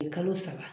Kalo saba